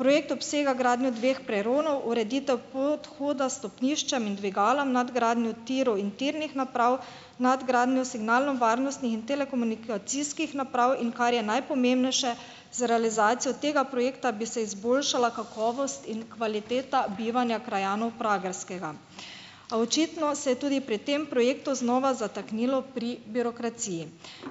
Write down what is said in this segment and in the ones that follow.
Projekt obsega gradnjo dveh peronov, ureditev podhoda stopnišča in dvigalom, nadgradnjo tirov in tirnih naprav, nadgradnjo signalnovarnostnih in telekomunikacijskih naprav, in kar je najpomembnejše, z realizacijo tega projekta bi se izboljšala kakovost in kvaliteta bivanja krajanov Pragerskega. A očitno se je tudi pri tem projektu znova zataknilo pri birokraciji.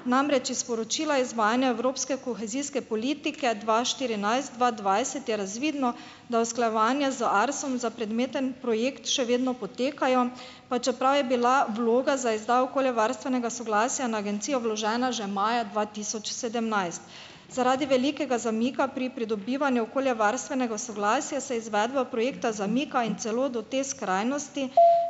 Namreč, iz sporočila izvajanja evropske kohezijske politike dva štirinajst-dva dvajset je razvidno, da usklajevanje z Arsom za predmeten projekt še vedno potekajo, pa čeprav je bila vloga za izdajo okoljevarstvenega soglasja na Agencijo vložena že maja dva tisoč sedemnajst. Zaradi velikega zamika pri pridobivanju okoljevarstvenega soglasja se izvedba projekta zamika, in celo do te skrajnosti,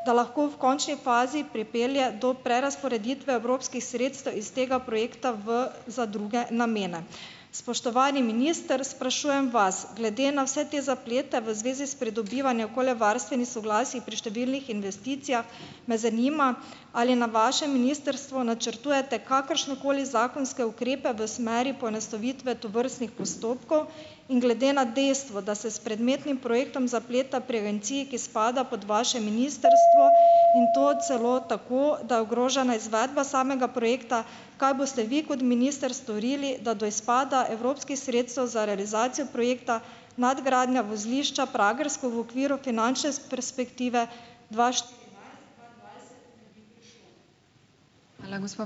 da lahko v končni fazi pripelje do prerazporeditve evropskih sredstev iz tega projekta v, za druge namene. Spoštovani minister, sprašujem vas: glede na vse te zaplete v zvezi s pridobivanjem okoljevarstvenih soglasij pri številnih investicijah me zanima, ali je na vašem ministrstvu načrtujete kakršnekoli zakonske ukrepe v smeri poenostavitve tovrstnih postopkov. In glede na dejstvo, da se s predmetnim projektom zapleta pri Agenciji, ki spada pod vaše ministrstvo, in to celo tako , da je ogrožena izvedba samega projekta, kaj boste vi kot minister storili, da do izpada evropskih sredstev za realizacijo projekta nadgradnja vozlišča Pragersko v okviru finančne perspektive dva štirinajst ...